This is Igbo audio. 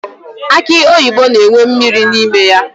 Akị oyibo na-enwe mmiri n'ime ya.